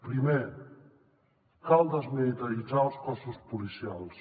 primer cal desmilitaritzar els cossos policials